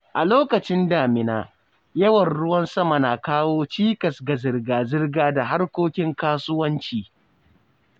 A lokacin damina, yawan ruwan sama na kawo cikas ga zirga-zirga da harkokin kasuwanci.